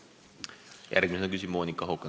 Järgmisena küsib Monika Haukanõmm.